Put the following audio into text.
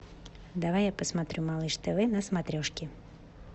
давай я посмотрю малыш тв на смотрешке